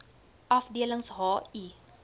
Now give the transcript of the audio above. afdelings h i